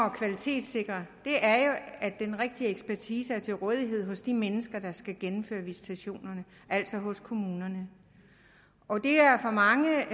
at kvalitetssikre er jo at den rigtige ekspertise er til rådighed hos de mennesker der skal gennemføre visitationerne altså hos kommunerne og der er for mange